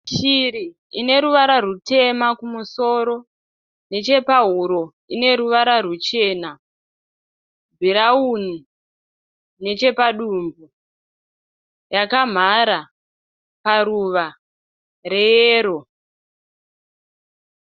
Shuri ineruvara rwutema kumusoro nechepahuro ine ruvara rwuchena bhurauni nechepa dumbu, yakamhara paruva reyero.